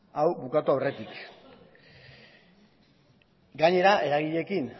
hau amaitu aurretik gainera eragileekin